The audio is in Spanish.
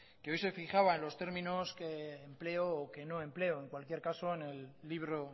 que hoy se fijaba en los términos que empleo o que no empleo en cualquier caso en el libro